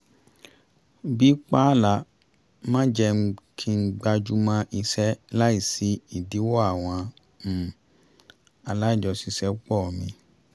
bí pààlà máa ń jẹ́ kí n gbájú mọ́ iṣẹ́ láì sí ìdílọ́wọ́ àwọn um alájọṣiṣẹ́pọ̀ mi